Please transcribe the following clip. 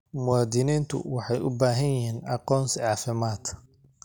Muwaadiniintu waxay u baahan yihiin aqoonsi caafimaad.